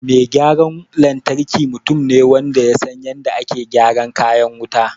Mai gyaran lantarki mutum ne wanda ya san yadda ake gyara kayan wuta